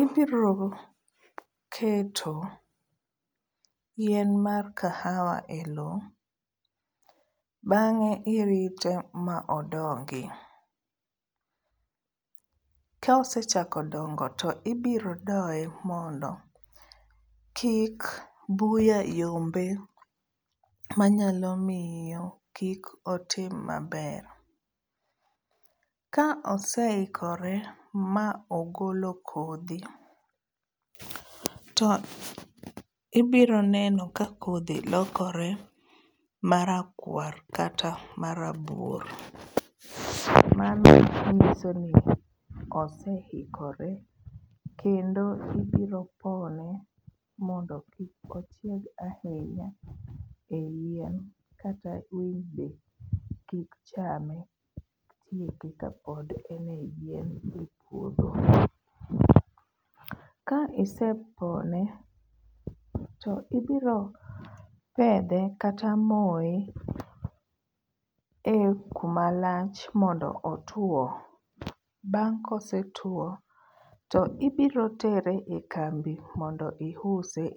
ibiro keto yien mar kahawa e lowo bang'e irite ma odongi. Ka osechako dongo to ibiro doye mondo kik buya yombe manyalo miyo kik otim maber. Ka oseikore ma ogolo kodhi, to ibiro neno ka kodhi lokore marakwar kata marabuor. Mano nyiso ni oseikore kendo ibiro pone mondo kik ochieg ahinya e yien kata winy be kik chame kapod en e yien e puodho. Ka isepone to ibiro pedhe kata moye e kuma lach mondo otuo. Bang' kosetwo to ibiro tere e kambi mondo iuse.